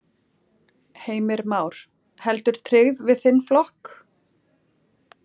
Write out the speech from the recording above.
Heimir Már: Heldur tryggð við þinn flokk?